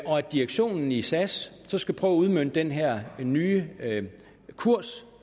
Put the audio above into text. direktionen i sas så skal prøve at udmønte den her nye kurs